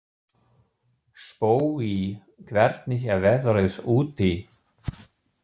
Spói, hvernig er veðrið úti?